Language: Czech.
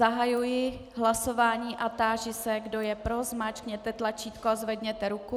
Zahajuji hlasování a táži se, kdo je pro, zmáčkněte tlačítko a zvedněte ruku.